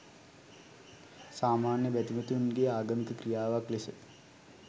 සාමාන්‍ය බැතිමතුන්ගේ ආගමික ක්‍රියාවක් ලෙස